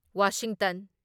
Washington